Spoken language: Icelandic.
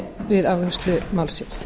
við afgreiðslu málsins